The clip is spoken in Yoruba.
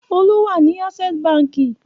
Olú wà ní Access Báńkì.